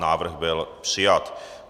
Návrh byl přijat.